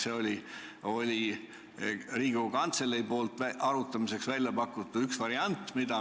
Selle kui ühe variandi pakkus arutamiseks välja Riigikogu Kantselei.